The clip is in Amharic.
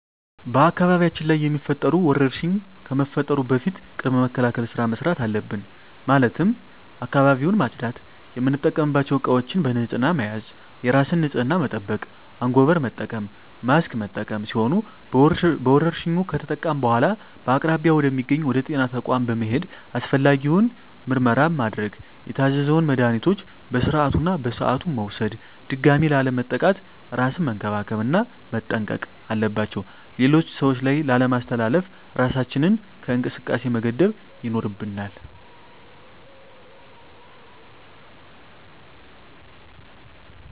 በአካባቢያችን ላይ የሚፈጠሩ ወረርሽኝ ከመፈጠሩ በፊት ቅድመ መከላከል ስራ መስራት አለብን ማለትም አካባቢውን ማፅዳት፣ የምንጠቀምባቸው እቃዎች በንህፅና መያዝ፣ የራስን ንፅህና መጠበቅ፣ አንጎበር መጠቀም፣ ማስክ መጠቀም ሲሆኑ በወረርሽኙ ከተጠቃን በኃላ በአቅራቢያ ወደ ሚገኝ ወደ ጤና ተቋም በመሔድ አስፈላጊውን የሆነ ምርመራ ማድረግ የታዘዘውን መድሀኒቶች በስርዓቱ እና በሰዓቱ መውሰድ ድጋሚ ላለመጠቃት እራስን መንከባከብ እና መጠንቀቅ አለባቸው ሌሎች ሰዎች ላይ ላለማስተላለፍ እራሳችንን ከእንቅስቃሴ መገደብ ይኖርብናል።